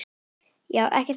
Já, ekkert mál!